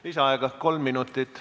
Lisaaega kolm minutit.